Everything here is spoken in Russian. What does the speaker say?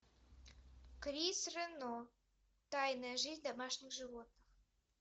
крис рено тайная жизнь домашних животных